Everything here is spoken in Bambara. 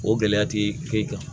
O gɛlɛya ti k'i kan